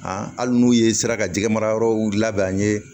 hali n'u ye sira ka jɛgɛmarayɔrɔw labɛn an ye